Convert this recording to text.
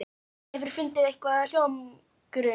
Hefurðu fundið einhvern hljómgrunn?